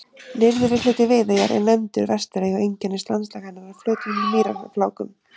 Nyrðri hluti Viðeyjar er nefndur Vesturey og einkennist landslag hennar af flötum mýrarflákum.